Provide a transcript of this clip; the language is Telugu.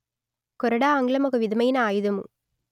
కొరడా ఆంగ్లం ఒక విధమైన ఆయుధము